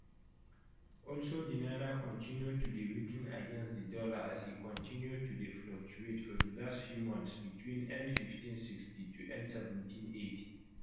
also di naira continue to dey weaken against di dollar as e continue to dey fluctuate for di last few months between n1560 to n1780